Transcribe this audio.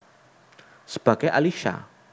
Sebagai Alisha